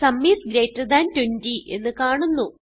sum is greater than 20 എന്ന് കാണുന്നു